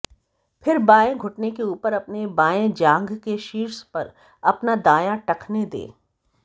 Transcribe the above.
फिर बाएं घुटने के ऊपर अपने बाएं जांघ के शीर्ष पर अपना दायां टखने दें